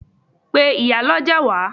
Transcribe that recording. Pe ìyálọ́jà wá!